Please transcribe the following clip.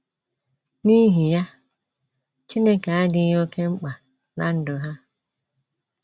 N’ihi ya, Chineke adịghị oké mkpa ná ndụ ha.